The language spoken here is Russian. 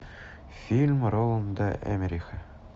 фильм роланда эммериха